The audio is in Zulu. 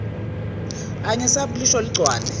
angesabi ukulisho ligcwale